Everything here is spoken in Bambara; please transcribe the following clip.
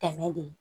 Tɛmɛ de